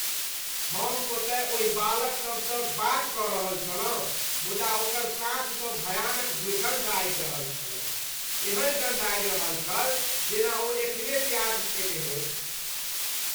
हम ओतय ओहि बालक सभसँ बात कऽ रहल छलहुँ मुदा ओकर साँस सँ भयानक दुर्गन्ध आबि रहल छलैक । एहन गन्ध आबि रहल छल जेना ओ एखने प्याज खेने होइ ।